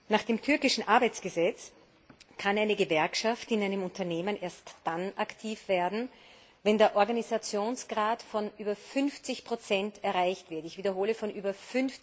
Nach dem türkischen Arbeitsgesetz kann eine Gewerkschaft in einem Unternehmen erst dann aktiv werden, wenn ein Organisationsgrad von über 50 erreicht wird. Ich wiederhole von über